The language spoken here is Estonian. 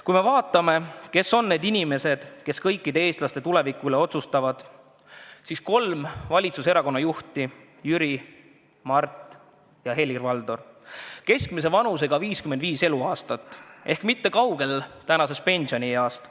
Kui vaatame, kes on need inimesed, kes kõikide eestlaste tuleviku üle otsustavad, siis nendeks on kolme valitsuserakonna juhid Jüri, Mart ja Helir-Valdor, keskmise vanusega 55 eluaastat ehk mitte kaugel praegu kehtivast pensionieast.